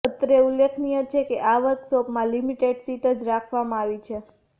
અત્રે ઉલ્લેખનીય છે કે આ વર્કશોપમાં લિમિટેડ સીટ જ રાખવામાં આવી છે